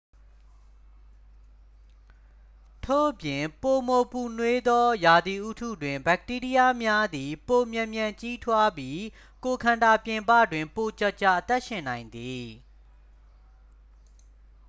ထို့ပြင် ပိုမိုပူနွေးသော ရာသီဥတုတွင် ဘက်တီးရီးယားများသည် ပိုမြန်မြန် ကြီးထွားပြီး ကိုယ်ခန္ဓာပြင်ပတွင် ပိုကြာကြာ အသက်ရှင်နိုင်သည်